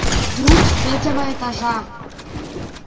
вдруг с третьего этажа